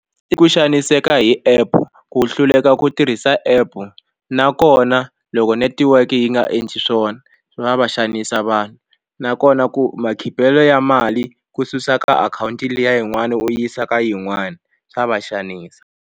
I ku xaniseka hi app ku hluleka ku tirhisa app nakona loko netiweke yi nga endli swona swi nga va xanisa vanhu nakona ku makhipelo ya mali ku susa ka akhawunti liya yin'wani u yisa ka yin'wani swa va xanisa.